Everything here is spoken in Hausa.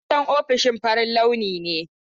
Hasken ofishin farin launi ne.